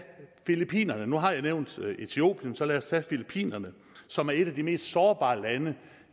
filippinerne nu har jeg nævnt etiopien så lad os tage filippinerne som er et af de mest sårbare lande